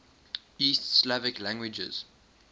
east slavic languages